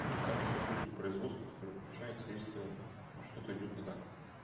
ну и там есть руководитель производства который включается если ну что-то идёт не так